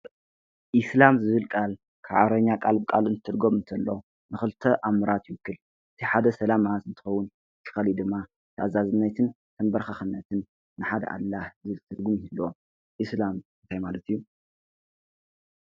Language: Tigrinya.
እስላም ዝብል ቃል ብዓረብኛ ቃል ብቓል እንትትርጉም እንተሎ ንክልተ ኣምራት ይትክእ እቲ ሓደ ሰላማት እቲ ካሊእ ድማ ናይ ተኣዛዝነትን ተምበራካክነትን ንሓደ ኣላህ ዝብል ትርጉም ይህልዎ። እስላም እንታይ ማለት እዩ ?